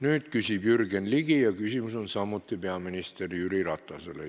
Nüüd küsib Jürgen Ligi ja küsimus on jälle peaminister Jüri Ratasele.